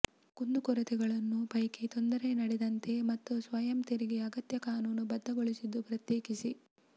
ಕುಂದುಕೊರತೆಗಳನ್ನು ಪೈಕಿ ತೊಂದರೆ ನಡೆದಂತೆ ಮತ್ತು ಸ್ವಯಂ ತೆರಿಗೆ ಅಗತ್ಯ ಕಾನೂನುಬದ್ಧಗೊಳಿಸಿದ್ದು ಪ್ರತ್ಯೇಕಿಸಿ